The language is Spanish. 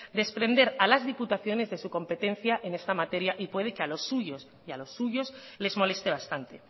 desprender a las diputaciones de su competencia en esta materia y puede que a los suyos les moleste bastante